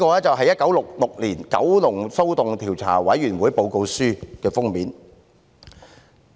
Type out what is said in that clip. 這是《一九六六年九龍騷動調查委員會報告書》的封面。